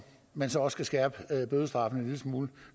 man så også skal skærpe bødestraffene en lille smule